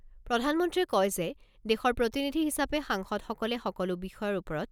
প্ৰধানমন্ত্ৰীয়ে কয় যে, দেশৰ প্ৰতিনিধি হিচাপে সাংসদসকলে সকলো বিষয়ৰ ওপৰত